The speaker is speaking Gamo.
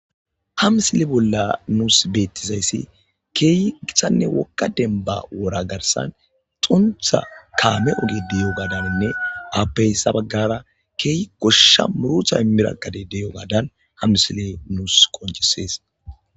ha misile bolla nuus beettizayssi keeyi gixanne wokka denba wora garsan xuntha kaame oge diyo gaadaninne appeyssa baggara keeyi goshsha murutha mirakade deyo gaadan ha misile nuus qonchisees